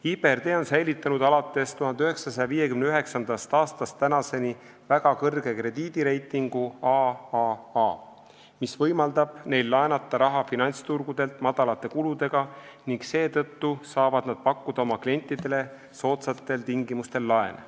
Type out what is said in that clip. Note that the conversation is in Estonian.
IBRD on säilitanud alates 1959. aastast tänaseni väga kõrge krediidireitingu AAA, mis võimaldab neil laenata raha finantsturgudelt väikeste kuludega ning seetõttu saavad nad pakkuda oma klientidele soodsatel tingimustel laene.